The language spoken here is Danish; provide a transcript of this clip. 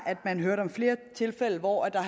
flere tilfælde hvor der